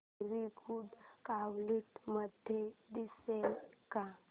movie good quality मध्ये दिसेल का